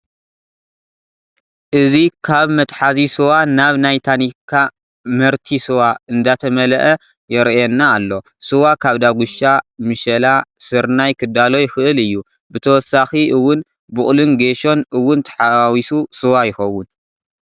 እዚ ካብ መትሓዚ ስዋ ናብ ናይ ታኒካ መርቲ ስዋ ዝንዳተመለኣ የረኣና ኣሎ። ስዋ ካብ ዳጉሻ፣ ምሸላ፣ ስርናይ ክዳሎ ይክእል እዩ። ብተወሳኪ እውን ብቁሉን ጌሶን እውን ተሓዋዊሱ ስዋ ይከውን።